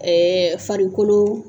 farikolo.